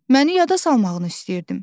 Məni yada salmağını istəyirdim.